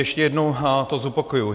Ještě jednou to zopakuji.